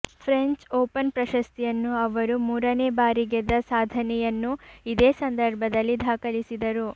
French Open ಪ್ರಶಸ್ತಿಯನ್ನು ಅವರು ಮೂರನೇ ಬಾರಿ ಗೆದ್ದ ಸಾಧನೆಯನ್ನೂ ಇದೇ ಸಂದರ್ಭದಲ್ಲಿ ದಾಖಲಿಸಿದರು